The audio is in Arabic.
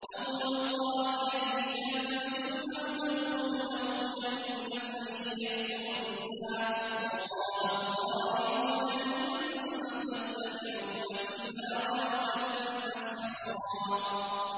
أَوْ يُلْقَىٰ إِلَيْهِ كَنزٌ أَوْ تَكُونُ لَهُ جَنَّةٌ يَأْكُلُ مِنْهَا ۚ وَقَالَ الظَّالِمُونَ إِن تَتَّبِعُونَ إِلَّا رَجُلًا مَّسْحُورًا